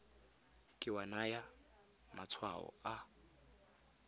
ke wa naya matshwao a